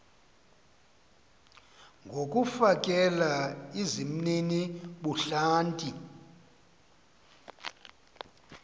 ngokufakela izimnini ubuhlanti